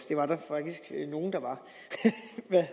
det var der faktisk nogle der var